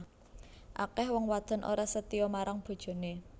Akeh wong wadon ora setya marang bojone